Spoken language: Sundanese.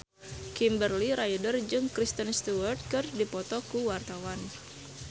Kimberly Ryder jeung Kristen Stewart keur dipoto ku wartawan